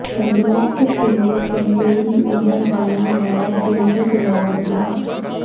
ਤੰਦਰੁਸਤ ਤੇ ਲੰਮੇਰੀ ਉਮਰ ਵਾਲਾ ਹੈ ਪਿੰਡ ਗਨੌਰ ਡਾ